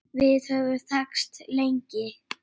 Við höfum þekkst lengi.